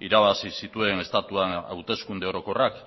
irabazi zituen estatuan hauteskunde orokorrak